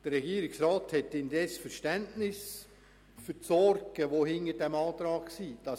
Der Regierungsrat hat indes Verständnis für die Sorgen, die hinter dem Antrag stehen: